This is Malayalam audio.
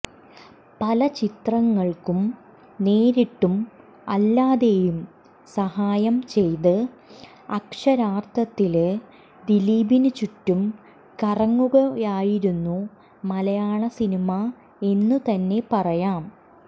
പല ചിത്രങ്ങള്ക്കും നേരിട്ടും അല്ലാതെയും സഹായം ചെയ്ത് അക്ഷരാര്ത്ഥത്തില് ദിലീപിന് ചുറ്റും കറങ്ങുകയായിരുന്നു മലയാള സിനിമ എന്ന് തന്നെ പറയാം